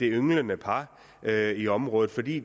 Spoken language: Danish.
ynglende par i området fordi